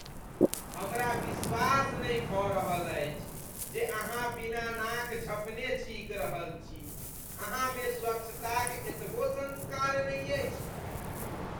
हमरा विश्वास नहि भऽ रहल अछि जे अहाँ बिना नाक झँपने छींकि रहल छी। अहाँमे स्वच्छताक एतबो संस्कार नहि अछि ?